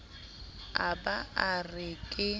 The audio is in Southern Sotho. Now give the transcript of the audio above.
a ba a re ke